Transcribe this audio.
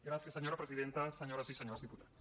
gràcies senyora presidenta senyores i senyors diputats